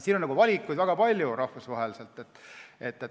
Siin on rahvusvaheliselt valikuid väga palju.